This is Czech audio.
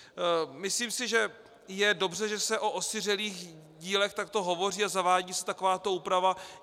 Myslím si, že je dobře, že se o osiřelých dílech takto hovoří a zavádí se takováto úprava.